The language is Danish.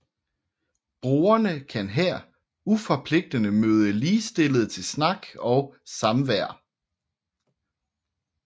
Brugerne kan her uforpligtende møde ligestillede til snak og samvær